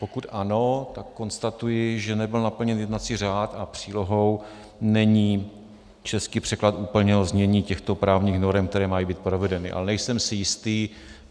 Pokud ano, tak konstatuji, že nebyl naplněn jednací řád a přílohou není český překlad úplného znění těchto právních norem, které mají být provedeny, ale nejsem si jistý.